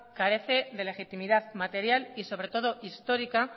carece de legitimidad material y sobre todo histórica